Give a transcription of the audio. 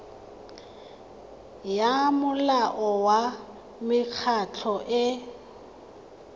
ya molao wa mekgatlho e